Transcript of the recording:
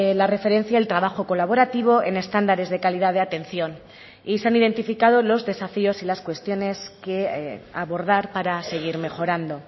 la referencia el trabajo colaborativo en estándares de calidad de atención y se han identificado los desafíos y las cuestiones que abordar para seguir mejorando